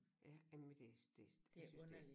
Ja jamen det det jeg synes det